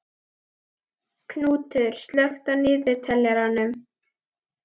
Knútur, slökktu á niðurteljaranum.